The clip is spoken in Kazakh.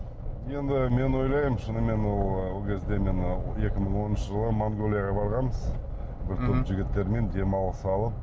енді мен ойлаймын шынымен ол ол кезде мен екі мың оныншы жылы монғолияға барғанбыз бір топ жігіттермен демалыс алып